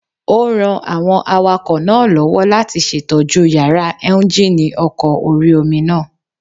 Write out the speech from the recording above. Ó ran àwọn awakọ̀ náà lọ́wọ́ láti ṣètójú yàrá éúnjínì ọkọ̀ orí-omi náà